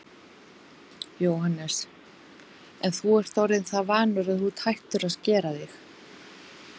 Jóhannes: En þú ert orðinn það vanur að þú ert hættur að skera þig?